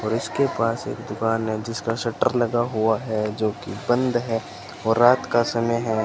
और इसके पास एक दुकान है जिसका शटर लगा हुआ है जो कि बंद है और रात का समय है।